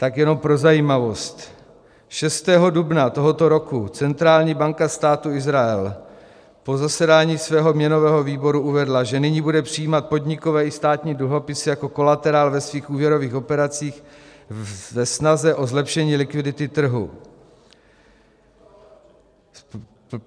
Tak jenom pro zajímavost, 6. dubna tohoto roku centrální banka Státu Izrael po zasedání svého měnového výboru uvedla, že nyní bude přijímat podnikové i státní dluhopisy jako kolaterál ve svých úvěrových operacích ve snaze o zlepšení likvidity trhu.